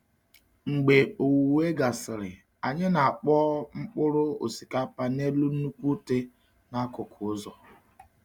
Mgbe owuwe gasịrị, anyị na-akpọọ mkpụrụ osikapa n’elu nnukwu utẹ n’akụkụ ụzọ.